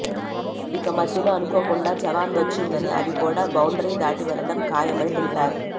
ఇక మధ్యలో అనుకోకుండా జవాన్ వచ్చిందని అది కూడా బౌండరీ దాటి వెళ్లడం ఖాయమని తెలిపారు